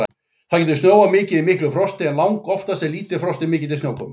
Það getur snjóað mikið í miklu frosti en langoftast er lítið frost í mikilli snjókomu.